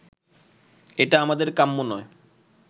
এটা আমাদের কাম্য নয়